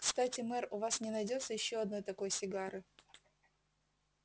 кстати мэр у вас не найдётся ещё одной такой сигары